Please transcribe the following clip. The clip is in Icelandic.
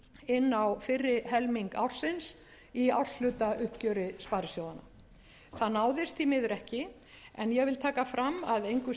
inn á fyrri helming ársins í árshlutauppgjöri sparisjóðanna það náðist því miður ekki en ég vil taka fram að engu að